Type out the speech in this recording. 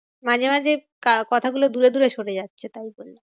মাঝে মাঝে ক~ কথা গুলো দূরে দূরে সরে যাচ্ছে তাই বলছি।